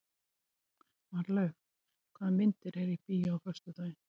Marlaug, hvaða myndir eru í bíó á föstudaginn?